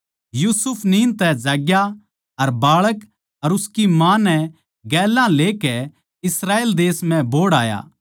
यूसुफ नींद तै जाज्ञा अर बाळक और उसकी माँ नै गेल्या लेकै इस्राएल देश म्ह बोहड़ आया